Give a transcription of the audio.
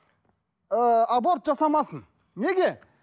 ыыы аборт жасамасын неге